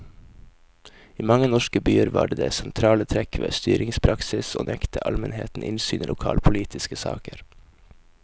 I mange norske byer var det sentrale trekk ved styringspraksis å nekte almenheten innsyn i lokalpolitiske saker.